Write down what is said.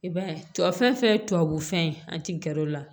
I b'a ye tubabu fɛn fɛn ye tubabu fɛn ye an tɛ gɛrɛ o la